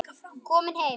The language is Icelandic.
Komin heim?